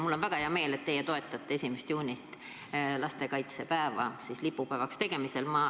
Mul on väga hea meel, et teie toetate 1. juuni, lastekaitsepäeva lipupäevaks tegemist.